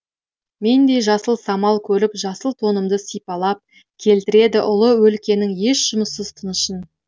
мендей жасыл самал көріп жасыл тонымды сипалап келтіреді ұлы өлкенің еш жұмыссыз тынышын